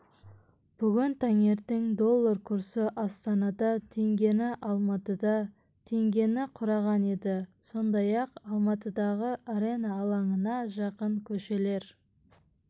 бүгін таңертең доллар курсы астанада теңгені алматыда теңгені құраған еді сондай-ақ алматыдағы арена алаңына жақын көшелер